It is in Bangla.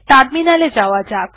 টার্মিনাল এ যাওয়া যাক